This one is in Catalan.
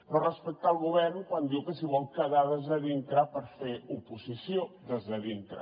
no respecta el govern quan diu que s’hi vol quedar dintre per fer oposició des de dintre